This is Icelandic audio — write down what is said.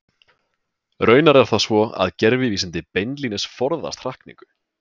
Raunar er það svo að gervivísindi beinlínis forðast hrakningu.